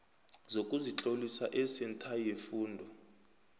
sokuzitlolisa esentha yefundo